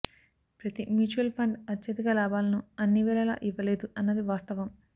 ప్రతి mutual fund అత్యధిక లాభాలను అన్ని వేళలా ఇవ్వలేదు అన్నది వాస్తవం